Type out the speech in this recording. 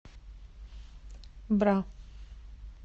бра